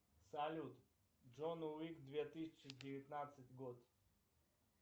салют джон уик две тысячи девятнадцать год